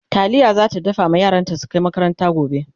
taliya zata dafa ma yaranta su Kai makaranta gobe